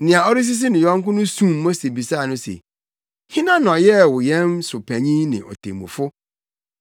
“Nea ɔresisi ne yɔnko no sum Mose bisaa no se, ‘Hena na ɔyɛɛ wo yɛn so panyin ne otemmufo?